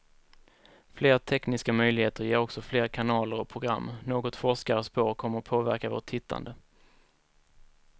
Fler tekniska möjligheter ger också fler kanaler och program, något forskare spår kommer att påverka vårt tittande.